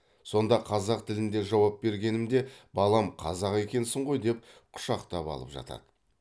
сонда қазақ тілінде жауап бергенімде балам қазақ екенсің ғой деп құшақтап алып жатады